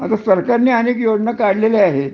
आता सरकारने अनेक योजना काढल्या आहेत